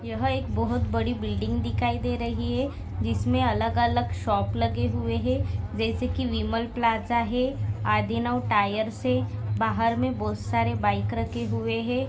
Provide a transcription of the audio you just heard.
यहा एक बहुत बड़ी बिल्डिंग दिखाई दे रही है। जिसमे अलग अलग शॉप लगे हुए है जैसे की विमल प्लाजा है आधीनव टायर्स है बाहर मे बहुत सारे बाइक रखे हुए है।